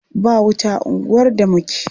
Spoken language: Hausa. Ba wuta a unguwar da muke.